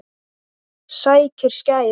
Sækir skæri.